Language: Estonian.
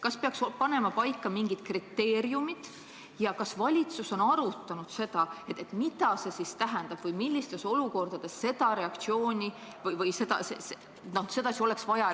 Kas peaks panema paika mingid kriteeriumid ja kas valitsus on arutanud seda, mida see kõik tähendab: et millistes olukordades oleks vaja sedasi reageerida ja millistes teisiti?